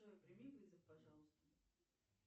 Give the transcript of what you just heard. джой прими вызов пожалуйста